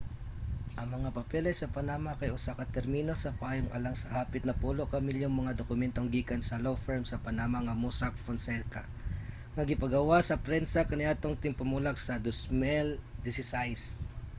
ang mga papeles sa panama kay usa ka termino sa payong alang sa hapit napulo ka milyong mga dokumentong gikan sa law firm sa panama nga mossack fonseca nga gipagawas sa prensa kaniadtong tingpamulak sa 2016